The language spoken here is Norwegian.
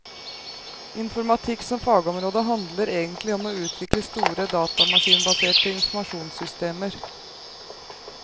Informatikk som fagområde handler egentlig om å utvikle store, datamaskinbaserte informasjonssystemer.